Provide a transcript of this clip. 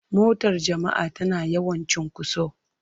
Motar jama'a tana yawan cunkoso.